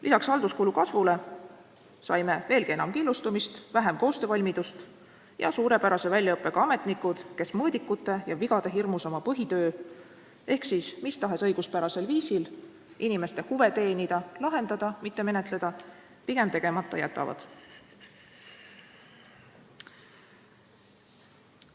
Lisaks halduskulu kasvule saime veelgi enam killustumist, vähem koostöövalmidust ja suurepärase väljaõppega ametnikud, kes mõõdikute ja vigade hirmus oma põhitöö ehk mis tahes õiguspärasel viisil inimeste huvide teenimise – lahendamise, mitte menetlemise – pigem tegemata jätavad.